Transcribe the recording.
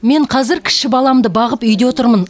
мен қазір кіші баламды бағып үйде отырмын